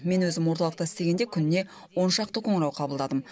мен өзім орталықта істегенде күніне он шақты қоңырау қабылдадым